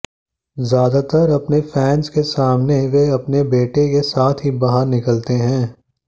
ज्यादातर अपने फैन्स के सामने वे अपने बेटे के साथ ही बाहर निकलते हैं